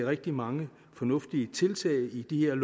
rigtig mange fornuftige tiltag i de her